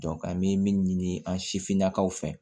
an bɛ min ɲini an sifinnakaw fɛ